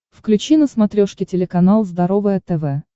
включи на смотрешке телеканал здоровое тв